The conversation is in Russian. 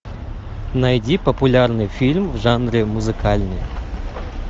найди популярный фильм в жанре музыкальный